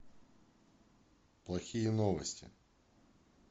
плохие новости